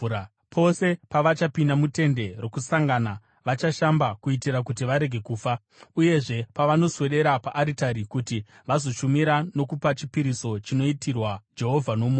Pose pavachapinda muTende Rokusangana vachashamba kuitira kuti varege kufa. Uyezve, pavanoswedera paaritari kuti vazoshumira nokupa chipiriso chinoitirwa Jehovha nomoto,